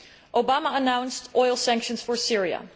Obama has announced oil sanctions for Syria.